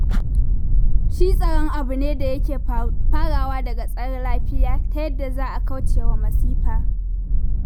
Shi tsaro abu ne da yake farawa daga tsare lafiya ta yadda za a kaucewa masifa.